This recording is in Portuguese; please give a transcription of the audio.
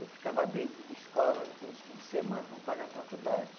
Eu ficava dentro de escola nos fim de semana para pagar a faculdade.